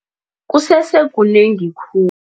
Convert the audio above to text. Kusese kunengi khulu